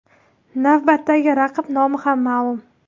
Navbatdagi raqib nomi ham ma’lum .